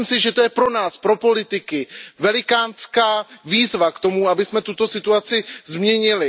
A myslím si, že to je pro nás, pro politiky, velikánská výzva k tomu, abychom tuto situace změnili.